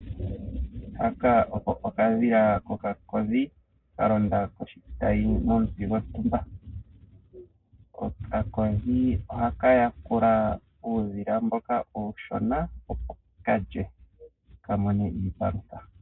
Okadhila kokakodhi ka londa komuti gontumba. Okakodhi ohaka yakula uudhila mboka uushona, opo ka lye ka mone iipalutha.